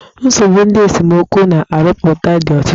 Nsogbu ndị esemokwu na-arụpụta dị ọtụtụ.